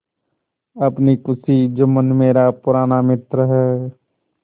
अपनी खुशी जुम्मन मेरा पुराना मित्र है